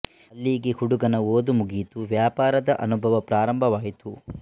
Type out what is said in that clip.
ಅಲ್ಲಿಗೆ ಹುಡುಗನ ಓದು ಮುಗಿಯಿತು ವ್ಯಾಪಾರದ ಅನುಭವ ಪ್ರಾರಂಭ ವಾಯಿತು